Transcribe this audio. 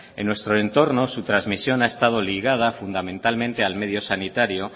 en nuestro entorno su trasmisión ha estado ligada fundamentalmente al medio sanitario